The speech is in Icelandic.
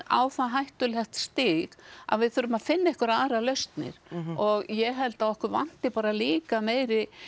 á það hættulegt stig að við þurfum að finna einhverjar aðrar lausnir og ég held að okkur vanti bara líka meiri